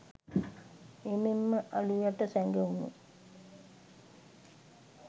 එමෙන් ම අළු යට සැගවුණු